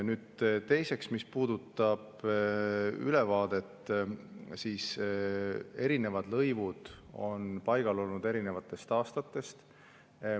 Nüüd, teiseks, mis puudutab ülevaadet, siis erinevad lõivud on paigal olnud erinevatest aastatest.